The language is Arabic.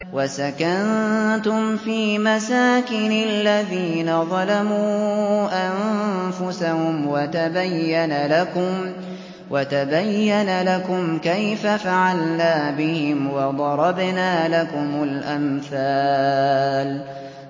وَسَكَنتُمْ فِي مَسَاكِنِ الَّذِينَ ظَلَمُوا أَنفُسَهُمْ وَتَبَيَّنَ لَكُمْ كَيْفَ فَعَلْنَا بِهِمْ وَضَرَبْنَا لَكُمُ الْأَمْثَالَ